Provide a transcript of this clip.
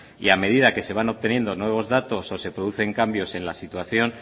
y a medida que se van obteniendo nuevos datos o se producen cambios en la situación